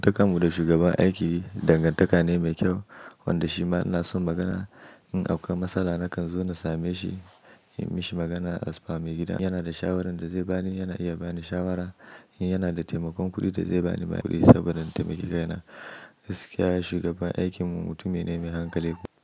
Dantakar mu da shugaban aiki dangantaka ne mai kyau, wanda shi ma ina son magana. In dauka matsala nakan zo na same shi, yi mashi magana a sifami gida. Yana da shawarar da zai bani, yana iya bani shawara. In yana da taimakon kuɗi da zai bani ma kuɗi saboda na taimaki kai na. Gaskiya shi shugaban aikin mu, mutum ne mai hankali.